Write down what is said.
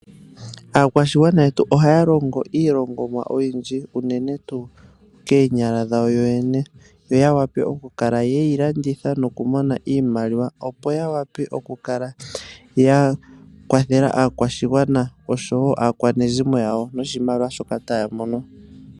Aakwashigwana yetu ohaya longo iilongomwa oyindji uunene tuu koonyala dhawo yoyene yo yawape okukala yeyilanditha opo yapwe okukala yakwathela aakwashigwana nosho woo aakwashigwana noshimaliwa shoka taya mono.